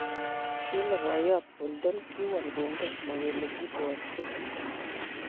Kile boiyot Bolton ''kiwol kongen ma kele kiibwatyin''